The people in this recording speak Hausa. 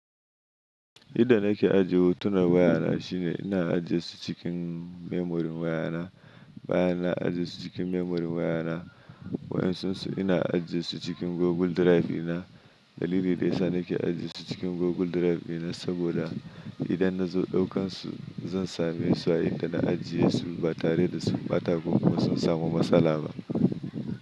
Yadda nake ajiye hotunan wayana shine ina ajiye su cikin memorin wayana. Bayan na ajiye su cikin memorin wayana, waɗansu ina ajiye su cikin Google Drive dina. Dalili daya sa nake ajiye su cikin Google Drive dina saboda idan na zo ɗaukan su, zan same su a inda na ajiye su ba tare da sun bata ko kuma sun samu matsala ba.